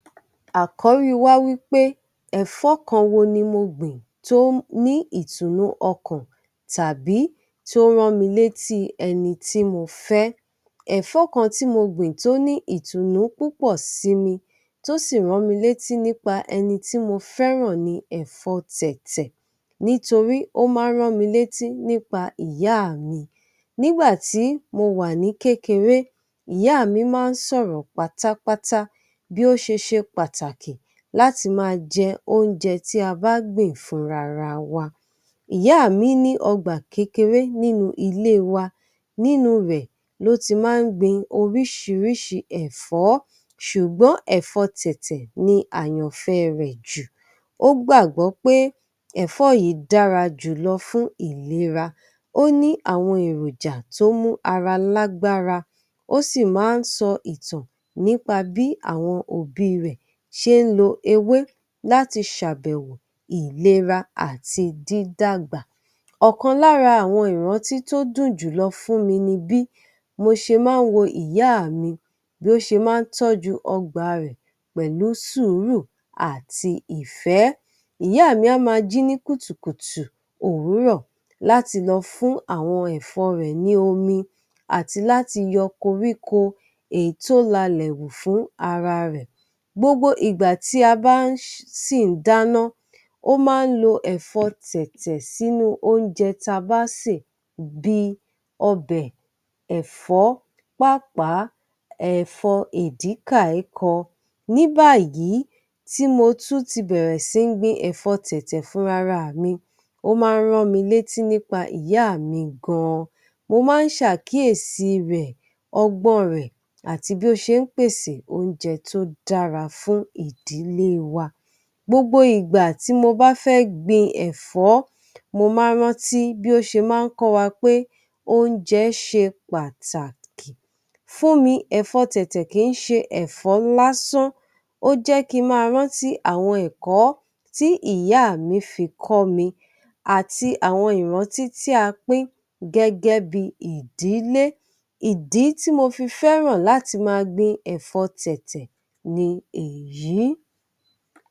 Àkọ́rí wa wí pé ẹ̀fọ́ kan wo ni mo gbìn tó ní ìtùnnú ọkàn tàbí tó ń rán mi létí ẹni tí mo fẹ́. Ẹ̀fọ́ kan tí mo gbìn tó ní ìtùnnú púpọ̀ sí mi, tó sì rán mi létí nípa ẹni tí mọ fẹ́ràn ni ẹ̀fọ́ Tẹ̀tẹ̀ nítorí ó máa ń rán mi létí nípa ìyá mi. Nígbà tí mo wà ní kékeré, ìyá mi máa ń sọ̀rọ̀ pátápátá bí ó ṣe ṣe pàtàkì láti máa jẹ oúnjẹ tí a bá gbìn fúnra ra wa. Ìyá mi ní ọgbà kékeré nínú ilé wa, nínú rẹ̀ ló ti máa ń gbin oríṣiríṣi ẹ̀fọ́, ṣùgbọ́n ẹ̀fọ́ Tẹ̀tẹ̀ ni àyànfẹ́ rẹ̀ jù. Ó gbàgbọ́ pé ẹ̀fọ́ yìí dára jùlọ fún ìlera. Ó ní àwọn èròjà tó mú ara lágbára, ó sì máa ń sọ ìtàn nípa bí àwọn òbí rẹ̀ ṣe ń lo ewé láti ṣàbẹ̀wò ìlera àti dídàgbà. Ọ̀kan lára àwoṇ ìrántí tó dùn jùlọ fún mi ni bí mo ṣe máa n wo ìyá mi bí ó ṣe máa ń tọ́jú og̣bà rẹ̀ pẹ̀lú sùúrù àti ìfẹ́. Ìyá mi a máa jí ní kùtùkùtù òwúrọ̀ láti lọ fún àwọn ẹ̀fọ́ rẹ̀ ní omi, àti láti yọ koríko èyí tó lalẹ̀ hù fún ara rẹ̀. Gbogbo ìgbà tí a bá sì ń dáná, ó máa ń lo ẹ̀fọ́ Tẹ̀tẹ̀ sínú ouńjẹ ta bá sè bí i ọbẹ̀, ẹ̀fọ́, pàápàá, ẹ̀fọ́ Èdíkàíkan. Ní báyìí tí mo tún ti bẹ̀rẹ̀ sí ń gbin ẹ̀fọ́ Tẹ̀tẹ̀ fúnra ra mi, ó máa ń rán mi létí nípa ìyá mi gan-an. Mo máa ń ṣàkíyèsí rẹ̀, ọgbọ́n rẹ̀ àti bí ó ṣe ń pèsè oúnjẹ tó dára fún ìdílé wa. Gbogbo ìgbà tí mo bá fẹ́ gbin ẹ̀fọ́, mo máa ń rántí bí ó ṣe máa ń kọ́ wa pé oúnjẹ ṣe pàtàkì. Fún mi ẹ̀fọ́ Tẹ̀tẹ̀ kì ń ṣe ẹ̀fọ́ lásán, ó jẹ́ kí n máa rántí àwọn ẹ̀kọ́ tí ìyá mi fi kọ́ mi, àti àwọn ìrántí tí a pín gẹ́gẹ́ bí i ìdílé. Ìdí tí mo fi fẹ́ràn láti máa gbin ẹ̀fọ́ Tẹ̀tẹ̀ ni èyí.